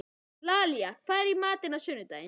Lalíla, hvað er í matinn á sunnudaginn?